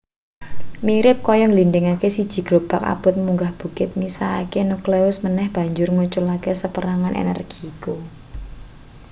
mirip kaya ngglindhingke siji grobak abot munggah bukit misahke nukleus meneh banjur ngeculake saperangan energi iku